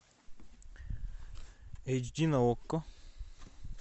эйч ди на окко